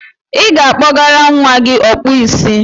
I ga-akpọgara nwa gị Ọkpụisi.